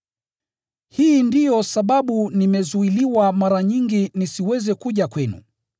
Hii ndiyo sababu nimezuiliwa mara nyingi nisiweze kuja kwenu.